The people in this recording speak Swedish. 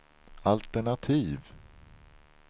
altenativ